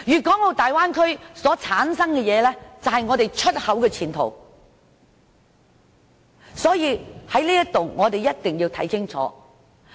大灣區所生產的東西，是我們出口的前途，在此我一定要說清楚。